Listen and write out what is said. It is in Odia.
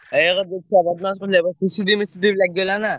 ଏବକାର ଯୋଉ ଛୁଆ ବଦମାସ କାଳେ ହେବେ CCTV ମିଶି TV ଲାଗି ଗଲାଣି ନା।